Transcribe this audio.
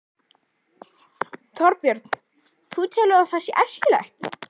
Þorbjörn: Þú telur að það sé æskilegt?